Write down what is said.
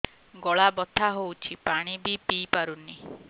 ଗଳା ବଥା ହଉଚି ପାଣି ବି ପିଇ ପାରୁନି